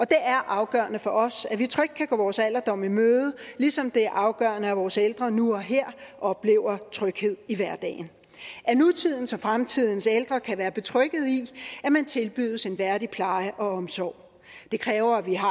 det er afgørende for os at vi trygt kan gå vores alderdom i møde ligesom det er afgørende at vores ældre nu og her oplever tryghed i hverdagen at nutidens og fremtidens ældre kan være betrygget i at man tilbydes en værdig pleje og omsorg det kræver at vi har